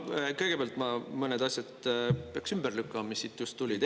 No kõigepealt ma mõned asjad peaks ümber lükkama, mis siit just tulid.